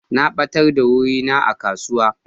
Na batar da wuri na a kasuwa.